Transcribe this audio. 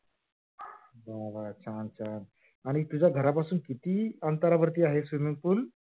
हो. अच्छा अच्छा आणि तुझ्या घरापासून किती दूर आहे? swimming pool